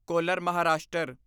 collar Maharashtra